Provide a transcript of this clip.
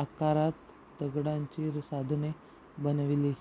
आकारात दगडांची साधने बनविली